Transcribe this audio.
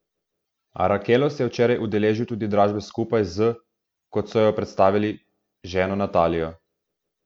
Arakelov se je včeraj udeležil tudi dražbe skupaj z, kot so jo predstavili, ženo Natalijo.